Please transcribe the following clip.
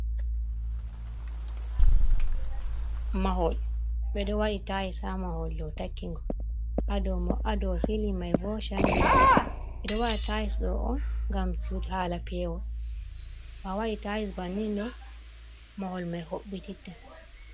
Mahol ɓe ɗo waɗi tayis haa mahol ɗo takki ngol, haa dow silin may bo candali. Ɓe ɗo waɗi tayis ɗo on, ngam haala peewol. To a waɗi tayis banni ɗo, mahol may hoɓɓititta.